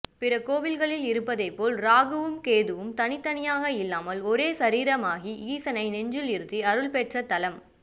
பிற கோயில்களில் இருப்பதைப்போல் ராகுவும் கேதுவும் தனியாக இல்லாமல் ஒரே சரீரமாகி ஈசனை நெஞ்சில் இருத்தி அருள்பெற்ற தலம்